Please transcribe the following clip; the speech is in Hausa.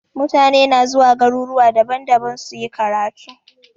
Mutane na zuwa garuruwa daban-daban suyi karatu.